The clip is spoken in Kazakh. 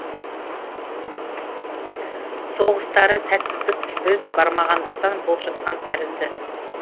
соғыстары сәтсіздік біз бармағандықтан болып жатқан тәрізді